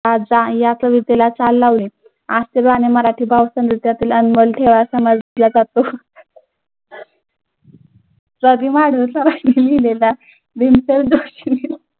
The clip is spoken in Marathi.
या कवितेला चाल लावली. आज ते गाणं मराठी भावसंगीतातील अनमोल ठेवा समजला जातो.